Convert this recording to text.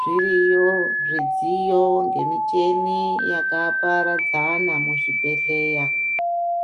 Zviriyo zvidziyo ngemichini yakaparadzana muzvibhedhleya,